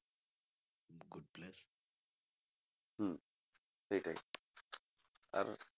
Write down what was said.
হম সেইটাই আর